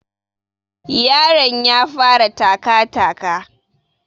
Yaron ya fara taka taka